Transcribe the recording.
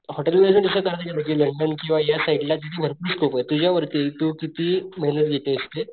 Hotel management पेक्षा चांगलं या साइडला भरपूर स्कोपे तुझ्या वरती तू किती मेहेनत घेतोयस ते.